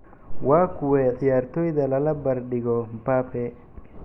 Waa kuwee ciyaartoyda lala barbar dhigo Mbappe?